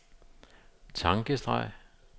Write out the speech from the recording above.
tankestreg